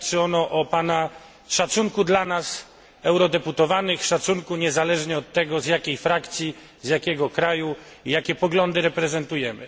Świadczy ono o pana szacunku dla nas, eurodeputowanych, szacunku niezależnie od tego z jakiej frakcji, z jakiego kraju pochodzimy i jakie poglądy reprezentujemy.